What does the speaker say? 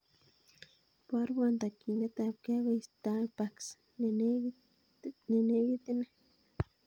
Iborwon tokyinet ab gee akoi starbucks nenekit inei